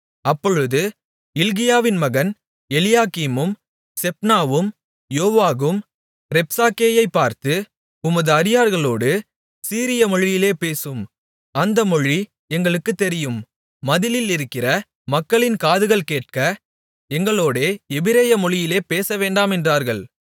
அப்பொழுது இல்க்கியாவின் மகன் எலியாக்கீமும் செப்னாவும் யோவாகும் ரப்சாக்கேயைப் பார்த்து உமது அடியார்களோடு சீரியமொழியிலே பேசும் அந்த மொழி எங்களுக்குத் தெரியும் மதிலிலிருக்கிற மக்களின் காதுகள் கேட்க எங்களோடே எபிரேய மொழியிலே பேசவேண்டாம் என்றார்கள்